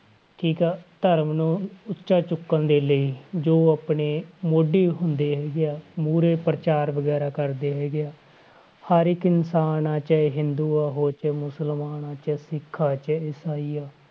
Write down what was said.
ਠੀਕ ਆ ਧਰਮ ਨੂੰ ਉੱਚਾ ਚੁੱਕਣ ਦੇ ਲਈ ਜੋ ਆਪਣੇ ਮੋਢੀ ਹੁੰਦੇ ਹੈਗੇ ਆ ਮੂਹਰੇ ਪ੍ਰਚਾਰ ਵਗ਼ੈਰਾ ਕਰਦੇ ਹੈਗੇ ਆ ਹਰ ਇੱਕ ਇਨਸਾਨ ਆਂ, ਚਾਹੇ ਹਿੰਦੂ ਆ, ਹੋਰ ਚਾਹੇ ਮੁਸਲਮਾਨ ਆਂ ਚਾਹੇ ਸਿੱਖ ਆ ਚਾਹੇ ਇਸਾਈ ਆ,